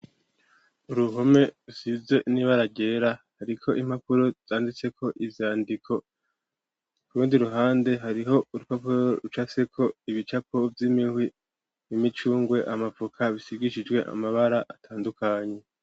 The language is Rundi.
Uruhome, rusize n'ibara ryera, hariko impapuro zanditseko ivyandiko; ku rundi ruhande, hariho urupapuro rucafyeko ibicapo vy'imihwi, imicungwe, amavoka, bisigishijwe amabara atandukanye.